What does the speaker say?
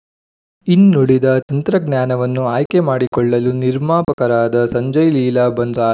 ಇನ್ನುಳಿದ ತಂತ್ರಜ್ಞಾನವನ್ನು ಆಯ್ಕೆ ಮಾಡಿಕೊಳ್ಳಲು ನಿರ್ಮಾಪಕರಾದ ಸಂಜಯ್ ಲೀಲಾ ಬನ್ಸಾ